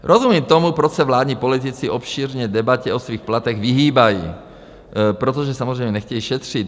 Rozumím tomu, proč se vládní politici obšírné debatě o svých platech vyhýbají, protože samozřejmě nechtějí šetřit.